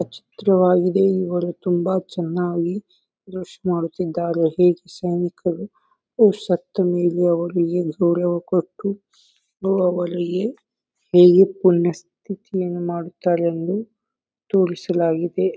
ಈ ಚಿತ್ರವಾಗಿದೆ ಇವರು ತುಂಬಾ ಚೆನ್ನಾಗಿ ಡ್ರೆಸ್ ಮಾಡುತ್ತಿದ್ದಾರೆ ಶಕ್ತಿ ಮೀರಿ ಅವರು ಅವರಿಗೆ ನೀವು ಪುಣ್ಯ ಮಾಡುತ್ತಾರೆಂದು ತೋರಿಸಲಾಗಿದೆ.